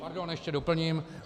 Pardon, ještě doplním.